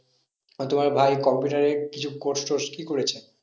আর তোমার ভাই computer এ কিছু course টোর্স কি করেছে?